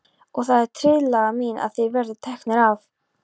Og það er tillaga mín að þeir verði teknir af.